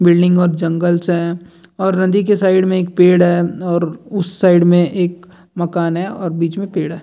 Building और जंगल छे और नदी के साइड में एक पेड़ है और उस साइड में एक मकान है और बीच में पेड़ है।